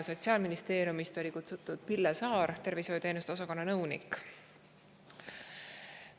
Sotsiaalministeeriumist oli kutsutud tervishoiuteenuste osakonna nõunik Pille Saar.